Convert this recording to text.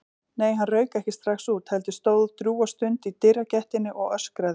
Nei, hann rauk ekki strax út, heldur stóð drjúga stund í dyragættinni og öskraði.